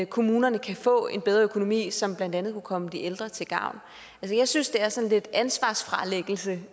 kommunerne kan få en bedre økonomi som blandt andet kunne komme de ældre til gavn jeg synes det er sådan lidt ansvarsfralæggelse